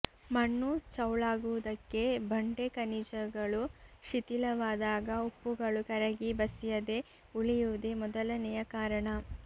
ಮಣ್ಣು ಚೌಳಾಗುವುದಕ್ಕೆ ಬಂಡೆ ಖನಿಜಗಳು ಶಿಥಿಲವಾದಾಗ ಉಪ್ಪುಗಳು ಕರಗಿ ಬಸಿಯದೆ ಉಳಿಯುವುದೇ ಮೊದಲನೆಯ ಕಾರಣ